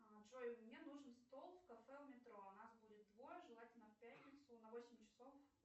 джой мне нужен стол в кафе у метро нас будет двое желательно в пятницу на восемь часов